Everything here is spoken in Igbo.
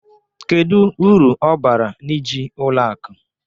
Kedu uru ọ bara n'iji ụlọ akụ?